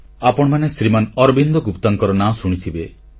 ଆପଣମାନେ ଶ୍ରୀମାନ ଅରବିନ୍ଦ ଗୁପ୍ତାଙ୍କର ନାଁ ଶୁଣିଥିବେ